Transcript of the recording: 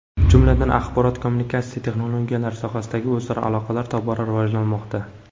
Jumladan, axborot-kommunikatsiya texnologiyalari sohasidagi o‘zaro aloqalar tobora rivojlanmoqda.